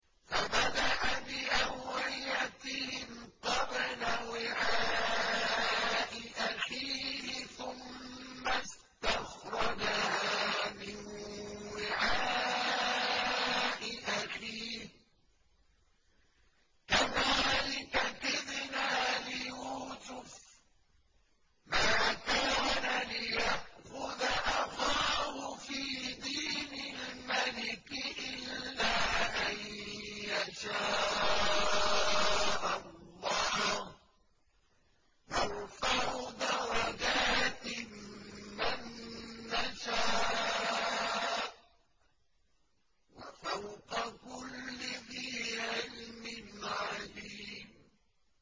فَبَدَأَ بِأَوْعِيَتِهِمْ قَبْلَ وِعَاءِ أَخِيهِ ثُمَّ اسْتَخْرَجَهَا مِن وِعَاءِ أَخِيهِ ۚ كَذَٰلِكَ كِدْنَا لِيُوسُفَ ۖ مَا كَانَ لِيَأْخُذَ أَخَاهُ فِي دِينِ الْمَلِكِ إِلَّا أَن يَشَاءَ اللَّهُ ۚ نَرْفَعُ دَرَجَاتٍ مَّن نَّشَاءُ ۗ وَفَوْقَ كُلِّ ذِي عِلْمٍ عَلِيمٌ